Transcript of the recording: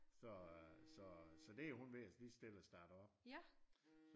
Så øh så det hun ved lige så stille at starte op